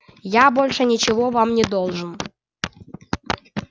я больше ничего вам не должен